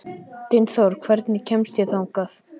Dynþór, hvernig kemst ég þangað?